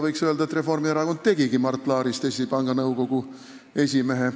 Võiks öelda, et Reformierakond tegigi Mart Laarist Eesti Panga Nõukogu esimehe.